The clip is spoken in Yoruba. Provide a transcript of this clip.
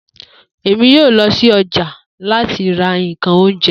Emi yoo lọ si ọja lati ra nkan ounjẹ